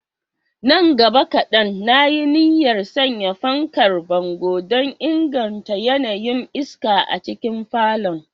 Nan gaba kadan, na yi niyyar sanya fankar bango don inganta yanayin iska a cikin falon.